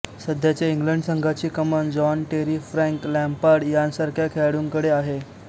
सध्याची इंग्लंड संघाची कमान जॉन टेरी फ्रॅंक लॅम्पार्ड यांसारख्या खेळाडूंकडे आहे